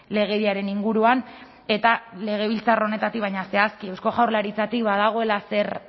legediaren inguruan eta legebiltzar honetatik baina zehazki eusko jaurlaritzatik badagoela zer